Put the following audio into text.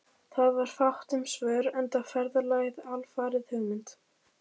Það var fátt um svör, enda ferðalagið alfarið hugmynd